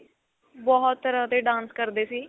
ਬਹੁਤ ਤਰ੍ਹਾਂ ਦੇ dance ਕਰਦੇ ਸੀ